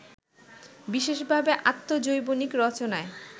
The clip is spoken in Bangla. বিশেষভাবে আত্মজৈবনিক রচনায়